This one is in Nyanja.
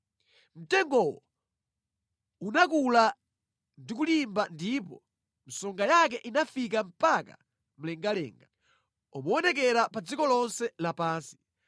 Mtengowo unakula ndi kulimba ndipo msonga yake inafika mpaka mlengalenga; umaonekera pa dziko lonse lapansi.